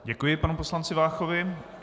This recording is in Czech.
Děkuji panu poslanci Váchovi.